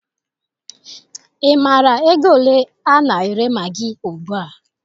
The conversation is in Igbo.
Ị maara ego ole a na-ere magị ugbua?